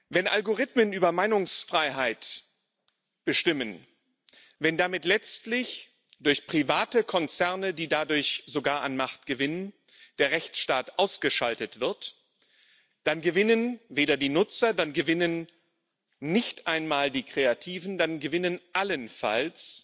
Wenn Algorithmen über Meinungsfreiheit bestimmen, wenn damit letztlich durch private Konzerne die dadurch sogar an Macht gewinnen der Rechtsstaat ausgeschaltet wird, dann gewinnen weder die Nutzer, dann gewinnen nicht einmal die Kreativen, dann gewinnen allenfalls